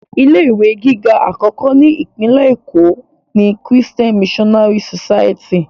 Ilé ìwé gíga àkọ́kọ́ ni Ìpínlẹ̀ Èkó ni Christian Missionary society